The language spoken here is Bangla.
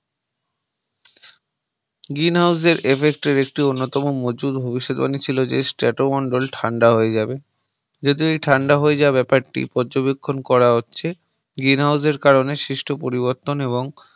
Green House এর Effect এর একটি অন্যতম মজুর ভবিষ্যৎবাণী ছিল যে Strato মন্ডল ঠান্ডা হয়ে যাবে যদি ঠান্ডা হয়ে যায় ব্যাপারটি পর্যবেক্ষণ করা হচ্ছে Green House এর কারণে সৃষ্ট পরিবর্তন এবং